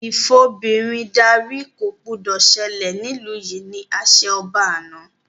Ìfobìnrin darí” ko gbọdọ̀ sẹlẹ̀ nílu yìí! ni àṣẹ ọba àná